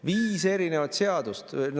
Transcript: Viis erinevat seadust!